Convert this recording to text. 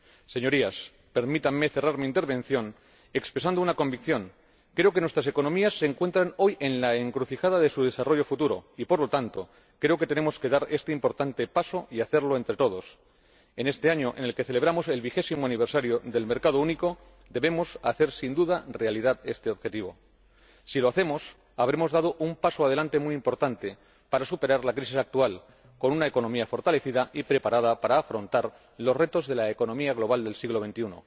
Señorías, permítanme cerrar mi intervención expresando una convicción creo que nuestras economías se encuentran hoy en la encrucijada de su desarrollo futuro y, por lo tanto, creo que tenemos que dar este importante paso y hacerlo entre todos. En este año en el que celebramos el vigésimo aniversario del mercado único, debemos, sin duda, hacer realidad este objetivo. Si lo hacemos, habremos dado un paso adelante muy importante para superar la crisis actual, con una economía fortalecida y preparada para afrontar los retos de la economía global del siglo XXI.